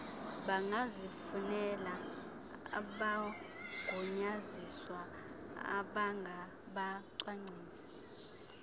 bangazifunela abagunyaziswa abangabacwangcisi